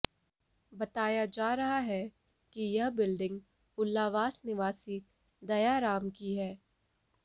बताया जा रहा है कि यह बिल्डिंग उल्लावास निवासी दयाराम की है